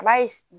A b'a ye